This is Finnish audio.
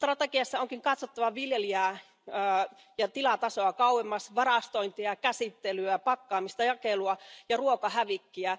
Strategiassa onkin katsottava viljelijää ja tilatasoa kauemmas varastointia, käsittelyä, pakkaamista, jakelua ja ruokahävikkiä.